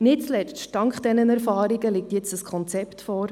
Nicht zuletzt dank dieser Erfahrungen liegt jetzt ein Konzept vor;